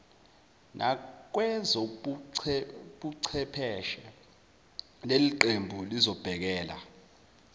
nakwezobuchepheshe leliqembu lizobhekela